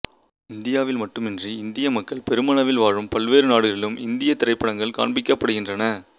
இந்தியாவில் மட்டுமன்றி இந்திய மக்கள் பெருமளவில் வாழும் பல்வேறு நாடுகளிலும் இந்தியத் திரைப்படங்கள் காண்பிக்கப்படுகின்றன